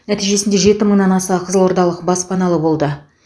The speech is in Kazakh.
нәтижесінде жеті мыңнан аса қызылордалық баспаналы болды